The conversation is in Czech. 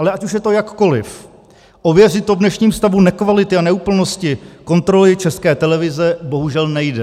Ale ať už je to jakkoliv, ověřit to v dnešním stavu nekvality a neúplnosti kontroly České televize bohužel nejde.